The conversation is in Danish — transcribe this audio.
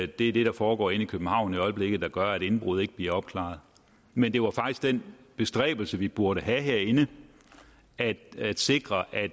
det er det der foregår inde i københavn i øjeblikket der gør at indbrud ikke bliver opklaret men det var faktisk den bestræbelse vi burde have herinde altså at sikre at